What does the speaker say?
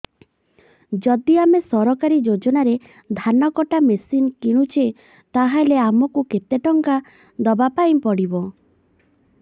ଯଦି ଆମେ ସରକାରୀ ଯୋଜନାରେ ଧାନ କଟା ମେସିନ୍ କିଣୁଛେ ତାହାଲେ ଆମକୁ କେତେ ଟଙ୍କା ଦବାପାଇଁ ପଡିବ